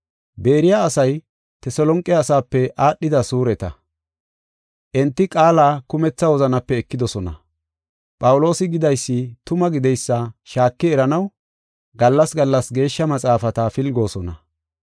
Beeriya asay Teselonqe asaape aadhida suureta. Enti qaala kumetha wozanape ekidosona; Phawuloosi gidaysi tuma gideysa shaaki eranaw gallas gallas Geeshsha Maxaafata pilgoosona.